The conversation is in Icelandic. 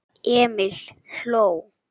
Emil hló.